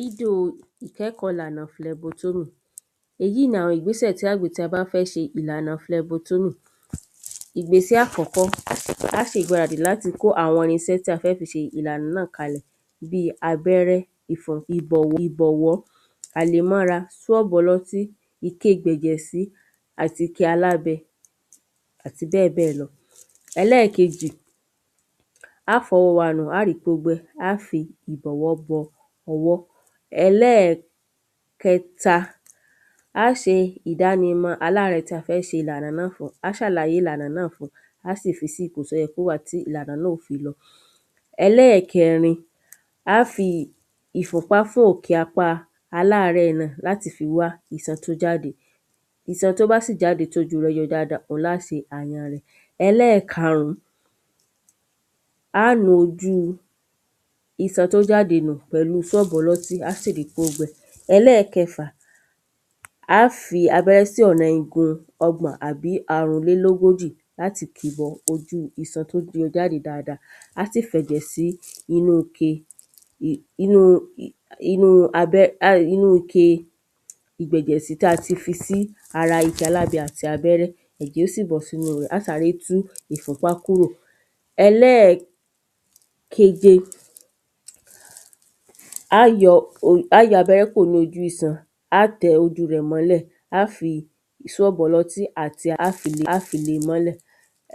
Dídò ìkẹ́kọ̀ọ́ ìlàùnà flẹbutú èyí ni àwọn ìgbésè tí á gbèé tí a bá fẹ́ ṣe ìlànà flẹbutúrù. Ìgbésẹ̀ àkọ́kọ́ á ṣe ìgbáradì láti kó àwọn irinṣẹ́ tí a fẹ́ fi ṣe ìlànà náà kalẹ̀ bí abẹ́rẹ́, ifọ ibọ ìbọ̀wọ́, àlòmóra? ọlọ́tí ìke ìgbẹ̀ʤẹ̀ sí àti ike alábẹ àti bẹ́ẹ̀ bẹ́ẹ̀ lọ. Ẹlẹ́ẹ̀kejì á fọ ọwọ́ wa nù á rí pó gbẹ á fi ìbọ̀wọ́ bọ ọwọ́. Ẹlẹ́ẹ̀kẹta á ṣe ìdánimọ̀ aláàrẹ̀ tí a fẹ́ ṣe ìlànà náà fún á ṣàlàyé ìlànà náà fún un á ò sì fi sí ipò tí ó yẹ kó wà tí ìlànà náà ó fi lọ. Ẹlẹ́ẹ̀rin, á fi ìfúnpá fún òkè apá aláàrẹ̀ náà láti fi wá isan tí ó jáde isan tí ó bá sì jáde tí ojú rẹ̀ yọ dáada lá se àyàn rẹ̀. Ẹlẹ́ẹ̀karún á nu ojú isan tó jáde nù pẹ̀lú fọ́b ọlọ́tí á sì rí pó gbẹ. Ẹlẹ́ẹ̀kẹfà á fi abẹ́rẹ́ sí ọ̀nà igun ọgbọ̀n àbí àrùnlélógójì láti kìí bọ ojú isan tó yọ jáde dáada á sì fẹ̀jẹ̀ sí inú ike inú inú abẹ́ um inú ike ìgbẹ̀jẹ̀sí tí a ti fi sí ara igi alábẹ̀ àti abẹ́rẹ́ ẹ̀jẹ̀ ó sì bọ́ sínú rẹ̀ á sáré tú ìfúnpá kúrò. Ẹlẹ́ẹ̀keje á yọ um á yọ abẹ́rẹ́ kúrò ní ojú isan á tẹ ojú rẹ̀ mólẹ̀ á fi swọ́bù ọlọ́tí àti á fi á fi lé mọ́lẹ̀.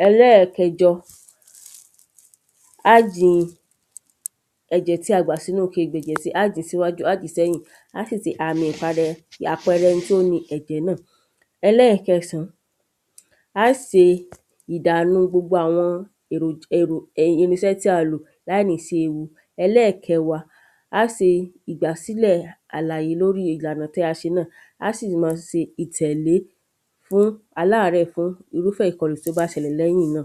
Ẹlẹ́ẹ̀kẹjọ á di ẹ̀jẹ̀ tí a gbà sínú ike ìgbẹ̀jẹ̀ sí á dì síwájú á dì sẹ́yìn? àpẹrẹ ẹni tí ó ni ẹ̀jẹ̀ náà. Ẹlẹ́ẹ̀kẹsàn án á se ìdànu gbogbo àwọn èrò èrò irinsẹ́ tí a lò láì ní sí ewu. Ẹlẹ́ẹ̀kẹwá á se ìgbàsílẹ̀ àlàyè lórí ìlànà tí a ṣe náà á sì má se ìtẹ̀lé fún aláàrẹ̀ fún irúfẹ́ ìpinu tí ó bá ṣẹlẹ̀ lẹ́yìn náà